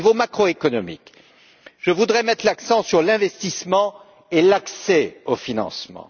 Au niveau macroéconomique, je voudrais mettre l'accent sur l'investissement et l'accès au financement.